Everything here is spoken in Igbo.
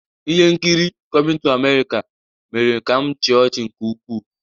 Ihe nkiri "Coming to America" ​​mere ka m chịa ọchị nke ukwuu.